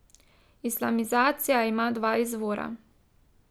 Islamizacija ima dva izvora.